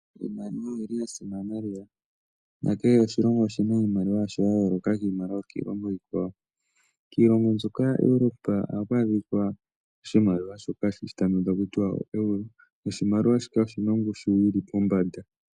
Iimaliwa oyi li ya simana lela nakehe oshilongo oshi na iimaliwa yasho ya yooloka kiimaliwa yokiilongo iikwawo. Kiilongo mbyoka yaEuropa ohaku adhika oshimaliwa shoka hashi ithanwa kutya ooeuro. Oshimaliwa shika oshi na ongushu yi li pombanda.